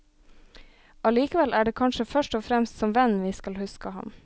Allikevel er det kanskje først og fremst som venn vi skal huske ham.